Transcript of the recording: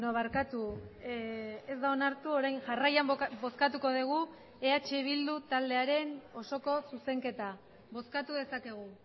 barkatu ez da onartu orain jarraian bozkatuko dugu eh bildu taldearen osoko zuzenketa bozkatu dezakegu